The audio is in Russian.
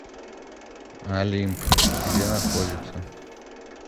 олимп где находится